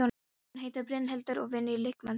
Hún heitir Brynhildur og vinnur í líkamsræktarstöð.